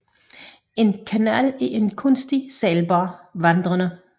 En kanal er en kunstig sejlbar vandrende